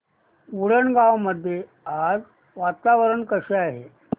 उंडणगांव मध्ये आज वातावरण कसे आहे